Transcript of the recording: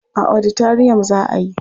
A oditariyam za a yi.